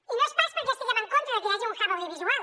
i no és pas perquè estiguem en contra de que hi hagi un hub audiovisual